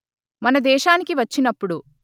మన దేశానికి వచ్చినప్పుడు